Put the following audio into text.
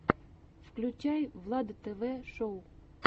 включай влад тв шоу